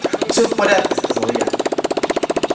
все в порядке сказал я